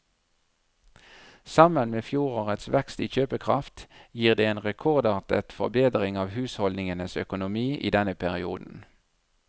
Sammen med fjorårets vekst i kjøpekraft gir det en rekordartet forbedring av husholdningenes økonomi i denne perioden.